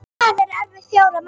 Það er eftir fjóra mánuði.